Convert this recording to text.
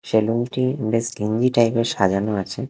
সেলুনটি বেশ টাইপের সাজানো আছে ।